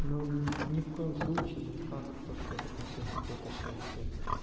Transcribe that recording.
ну ни в коем случае никак то что это принесёт какое-то счастье